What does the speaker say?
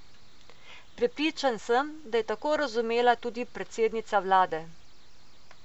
Prepričan sem, da je tako razumela tudi predsednica vlade.